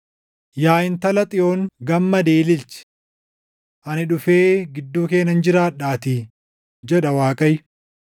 “Yaa Intala Xiyoon gammadii ililchi. Ani dhufee gidduu kee nan jiraadhaatii” jedha Waaqayyo.